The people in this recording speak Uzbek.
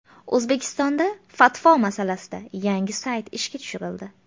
O‘zbekistonda fatvo masalasida yangi sayt ishga tushirildi.